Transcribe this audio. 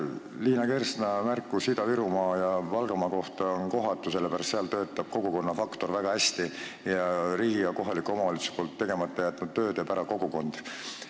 Liina Kersna märkus Ida-Virumaa ja Valgamaa kohta oli kohatu, sest seal töötab kogukonnafaktor väga hästi ning riigi ja kohaliku omavalitsuse tegemata töö teeb ära kogukond.